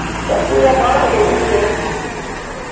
ਉਹ ਤਾਂ ਪੂਜਾ ਬਾਹਲਾ ਖਿੱਝਦੀ ਏ ਨਾ।